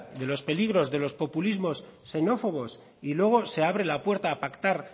de los peligros de los populismos xenófobos y luego se abre la puerta a pactar